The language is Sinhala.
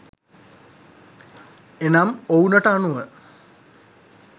එනම් ඔවුනට අනුව